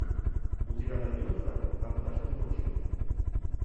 у тебя найдется однажды ночью